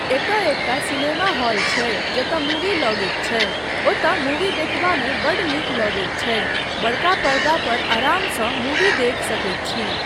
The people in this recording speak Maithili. एतय एकटा सिनेमा हॉल छै जतय मूवी लगैत छै, ओतय मूवी देखबामे बड्ड नीक लगैत छै, बड़का पर्दा पर आरामसँ मूवी देखि सकैत छी।